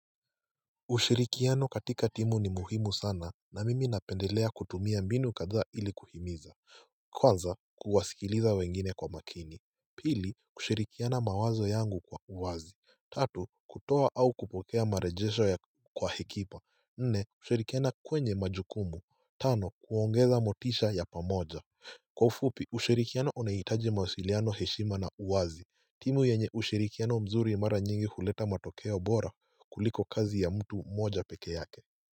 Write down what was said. Ushirikiano katika timu ni muhimu sana na mimi napendelea kutumia mbinu kadha ili kuhimiza kwanza kuwasikiliza wengine kwa makini pili kushirikiana mawazo yangu kwa uwazi tatu kutoa au kupokea marejesho ya kwa hekima nne kushirikiana kwenye majukumu tano kuongeza motisha ya pamoja kwa ufupi ushirikiano unahitaji mawasiliano heshima na uwazi timu yenye ushirikiano mzuri mara nyingi huleta matokeo bora kuliko kazi ya mtu mmoja peke yake.